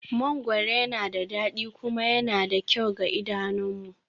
Mangoro yana da dadi kuma yana da kyau ga idanunmu